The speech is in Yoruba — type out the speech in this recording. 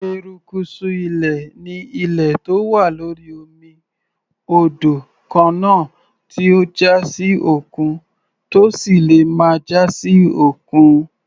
Erékùṣù ilẹ̀ ni ilẹ̀ tó wà lórí omi, odò, kànáà tí ó já sí òkun, tó sì lè má já sí òkun.